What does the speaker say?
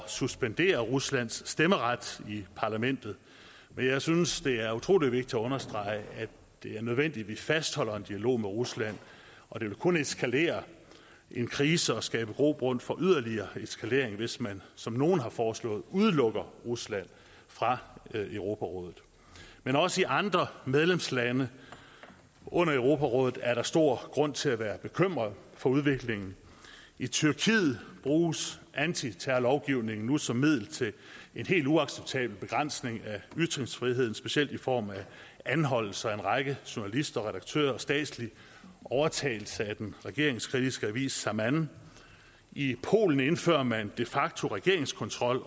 suspendere ruslands stemmeret i parlamentet men jeg synes det er utrolig vigtigt at understrege at det er nødvendigt at vi fastholder en dialog med rusland og det vil kun eskalere en krise og skabe grobund for yderligere eskalering hvis man som nogle har foreslået udelukker rusland fra europarådet men også i andre medlemslande under europarådet er der stor grund til at være bekymret for udviklingen i tyrkiet bruges antiterrorlovgivningen nu som middel til en helt uacceptabel begrænsning af ytringsfriheden specielt i form af anholdelser af en række journalister og redaktører og statslig overtagelse af den regeringskritiske avis zaman i polen indfører man de facto regeringskontrol